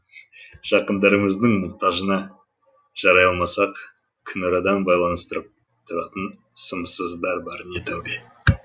жақындарымыздың мұқтажына жарай алмасақ күнарадан байланыстырып тұратын сымсыздар барыне тәубе